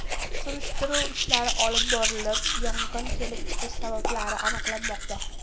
Surishtiruv ishlari olib borilib, yong‘in kelib chiqish sababi aniqlanmoqda.